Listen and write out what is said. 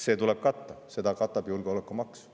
See tuleb katta, seda katab julgeolekumaks.